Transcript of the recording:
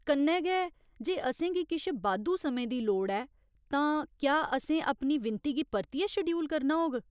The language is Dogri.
कन्नै गै, जे असेंगी किश बाद्धू समें दी लोड़ ऐ, तां क्या असें अपनी विनती गी परतियै शड्यूल करना होग?